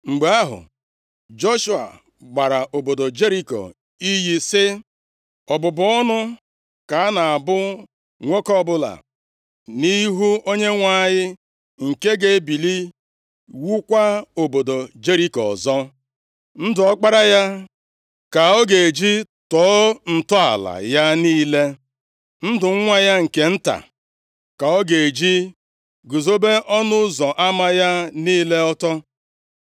Mgbe ahụ, Joshua gbara obodo Jeriko iyi sị, “Ọbụbụ ọnụ ka a na-abụ nwoke ọbụla nʼihu Onyenwe anyị nke ga-ebili wuokwa obodo Jeriko ọzọ. “Ndụ ọkpara + 6:26 Ya bụ, ọkpara ya ga-anwụ mgbe ọ ga-atọ ntọala nʼihi iwugharị obodo ahụ. ya ka ọ ga-eji tọọ ntọala ya niile, ndụ nwa ya nke nta, ka ọ ga-eji guzobe ọnụ ụzọ ama ya niile ọtọ.” + 6:26 \+xt 1Ez 16:34\+xt*